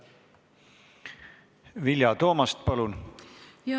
Vilja Toomast, palun!